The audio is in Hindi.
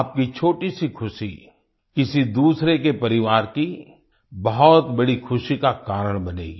आपकी छोटी सी ख़ुशी किसी दूसरे के परिवार की बहुत बड़ी ख़ुशी का कारण बनेगी